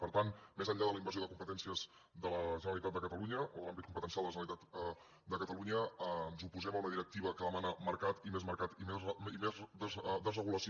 per tant més enllà de la invasió de competències de la generalitat de catalunya o de l’àmbit competencial de la generalitat de catalunya ens oposem a una directiva que demana mercat i més mercat i més desregulació